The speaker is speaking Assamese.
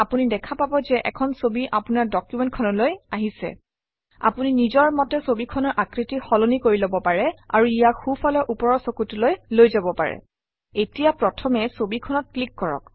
আপুনি দেখা পাব যে এখন ছবি আপোনাৰ ডকুমেণ্ট খনলৈ আহিছে আপুনি নিজৰ মতে ছবিখনৰ আকৃতি সলনি কৰি লব পাৰে আৰু ইয়াক সোঁফালৰ ওপৰৰ চুকটোলৈ লৈ যাব পাৰে এতিয়া প্ৰথমে ছবিখনত ক্লিক কৰক